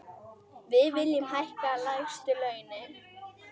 Við viljum hækka lægstu launin.